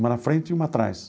Uma na frente e uma atrás.